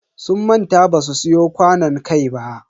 Sun manta basu siyo kwanon kai ba.